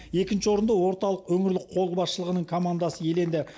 екінші орынды орталық өңірлік қолбасшылығының командасы иеленді